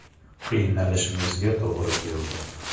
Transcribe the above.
Qiynalishimizga to‘g‘ri keldi.